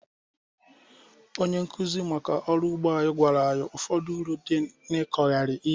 Onye nkụzi maka ọrụ ugbo anyị gwara anyị ụfọdụ uru dị n'ịkọgharị ihe